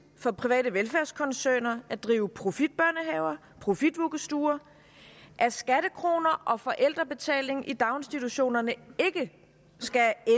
for private velfærdskoncerner at drive profitbørnehaver og profitvuggestuer og at skattekroner og forældrebetaling i daginstitutionerne ikke skal